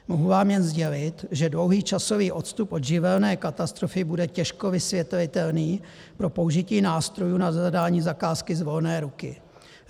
Mohu vám jen sdělit, že dlouhý časový odstup od živelní katastrofy bude těžko vysvětlitelný pro použití nástrojů na zadání zakázky z volné ruky.